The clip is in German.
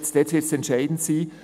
Dort wird es entscheidend sein.